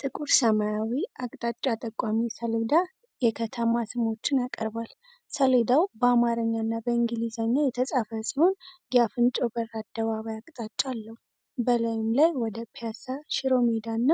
ጥቁር ሰማያዊ አቅጣጫ ጠቋሚ ሰሌዳ የከተማ ስሞችን ያቀርባል። ሰሌዳው በአማርኛና በእንግሊዝኛ የተጻፈ ሲሆን የአፈንጮ በር አደባባይ አቅጣጫ አለው። በላዩም ላይ ወደ ፒያሳ፣ ሺሮሜዳና